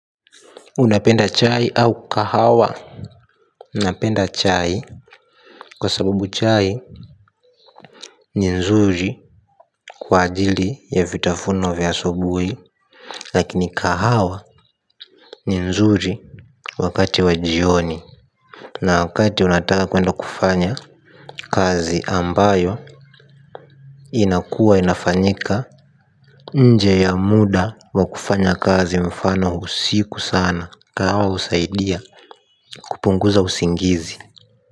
Unapenda chai au kahawa. Napenda chai kwa sababu chai ni nzuri kwa ajili ya vitafuno vya asubui. Lakini kahawa ni nzuri wakati wa jioni. Na wakati unataka kwenda kufanya kazi ambayo inakuwa inafanyika nje ya muda wa kufanya kazi mfano usiku sana. Kahawa husaidiya kupunguza usingizi.